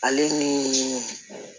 Ale ni